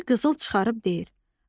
Bir qızıl çıxarıb deyir: